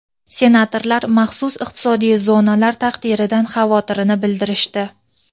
Senatorlar maxsus iqtisodiy zonalar taqdiridan xavotirini bildirishdi.